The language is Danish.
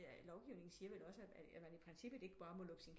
Lovgivningen siger vel også at man i princippet ikke bare må lukke sin